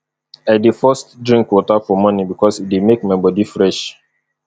i dey first drink water for morning bikos e dey make my body fresh